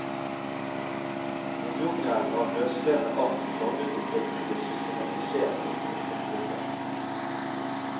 En jungel av løsrevne ark flagret omkring og ble systematisert i store konvolutter.